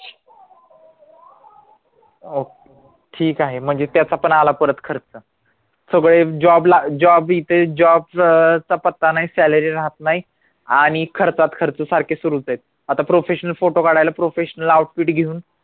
ठीक आहे म्हणजे त्याचा पण आला परत खर्च सगळे job ला job इथे job अं पत्ता नाही salary राहत नाही आणि खर्चात खर्च सारखे सुरूच येत आता professional फोटो काढायला professional outfit घेऊन